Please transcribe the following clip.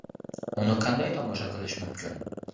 Uni qanday tomosha qilish mumkin?.